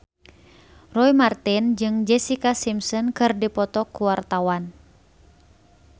Roy Marten jeung Jessica Simpson keur dipoto ku wartawan